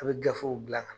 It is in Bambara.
A bɛ gafew bila ka na